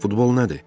Futbol nədir?